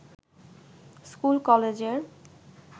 স্কুল-কলেজের